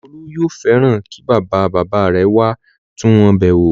Olú yóò fẹ́ràn kí bàba-bàbá rẹ̀ wá tún wọn bẹ̀ wò.